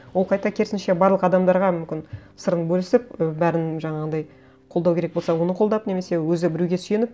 ол қайта керісінше барлық адамдарға мүмкін сырын бөлісіп і бәрін жаңағындай қолдау керек болса оны қолдап немесе өзі біреуге сүйеніп